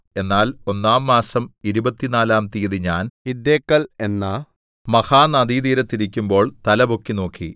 എന്നാൽ ഒന്നാം മാസം ഇരുപത്തിനാലാം തീയതി ഞാൻ ഹിദ്ദേക്കൽ എന്ന മഹാ നദീതീരത്ത് ഇരിക്കുമ്പോൾ തലപൊക്കി നോക്കി